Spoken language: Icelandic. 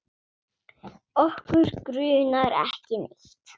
Okkur grunar ekki neitt.